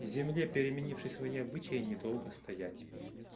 земле переменившей свои обычаи не долго стоять